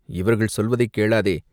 இவர்கள் சொல்வதைக் கேளாதே!